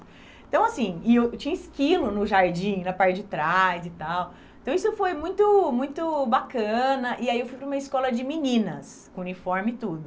Então, assim, e eu tinha esquilo no jardim, na parte de trás e tal, então isso foi muito, muito bacana, e aí eu fui para uma escola de meninas, com uniforme e tudo.